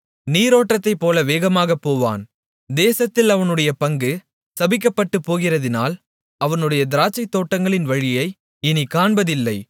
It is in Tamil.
நீரோட்டத்தைப்போல வேகமாகப் போவான் தேசத்தில் அவனுடைய பங்கு சபிக்கப்பட்டுப் போகிறதினால் அவனுடைய திராட்சைத்தோட்டங்களின் வழியை இனிக்காண்பதில்லை